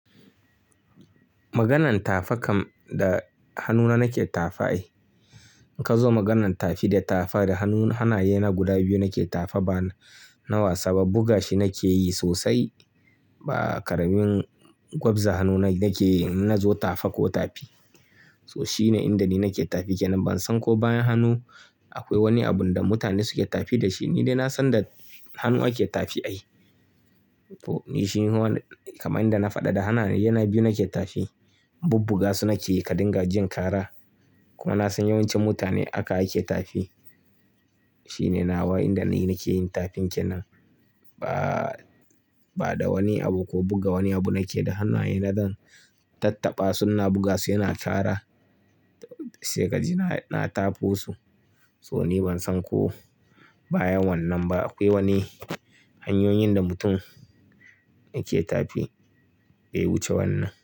Maganin tafa kam da hannuna nake tafa ai. In ka zo maganan tafi da tafa da hannu hanaye na guda biyu nake tafa bana na wasa ba buga shi nake yi sosai ba. Ƙaramin gwabza hannuna nake in nazo tafa ko tafi. So shine inda ni nake tafi ke nan. Ban san ko bayan hannu akwai wani abun da mutane suke tafi da shi. Ni dai na san da hannu ake tafi ai. To ni shi ne kamar inda na faɗa da hannaye na biyu nake tafi. Bubbuga su nake yi ka dinga jin kara. Kuma na san yawancin mutane aka ake tafi. Shi ne nawa inda ni nake yin tafin kenan ba, ba da wani abu ko buga wani abu nake. Da hannaye na zan tattaɓa su ina buga su yana kara sai kaji na tafo su. So ni ban san ko bayan wannan ba akwai wani hanyoyin da mutum yake tafi. Daya wuce wannan.